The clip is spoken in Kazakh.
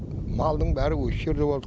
малдың бәрі осы жерде болды